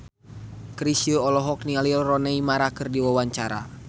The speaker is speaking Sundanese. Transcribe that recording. Chrisye olohok ningali Rooney Mara keur diwawancara